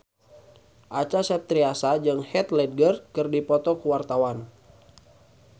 Acha Septriasa jeung Heath Ledger keur dipoto ku wartawan